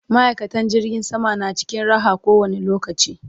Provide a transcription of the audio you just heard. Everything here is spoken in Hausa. ma'aikatan jirgin sama na cikin Raha ko wani lokaci